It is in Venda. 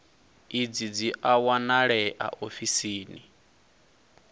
idzi dzi a wanalea ofisini